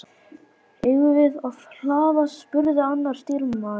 Eigum við að hlaða? spurði annar stýrimaður.